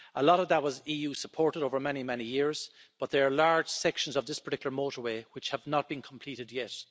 A lot of that was EU supported over many, many years, but there are large sections of this particular motorway which have not been completed yet.